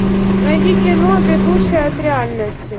найди кино бегущая от реальности